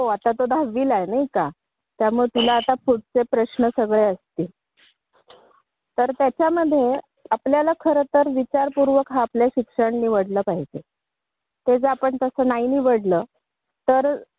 हो तो यावर्षी दहावीलाआहे नाही का त्यामुळे तुला आता पुढच्या सगळ्या गोष्टींचा विचार करावा लागेल आणि त्याप्रमाणे तुला विचारपूर्वक शिक्षणही कुठलं दयायचा याचा विचार करायला पाहिजे